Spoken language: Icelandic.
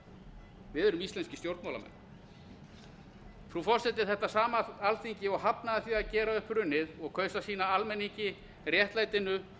það við erum íslenskir stjórnmálamenn frú forseti þetta sama alþingi og hafnaði því að gera upp hrunið og kaus að sýna almenningi réttlætinu